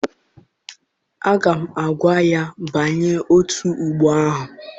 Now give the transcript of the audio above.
Aga m agwa ya banye otù ọgbọ ahụ!